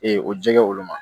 Ee o jɛgɛ olu ma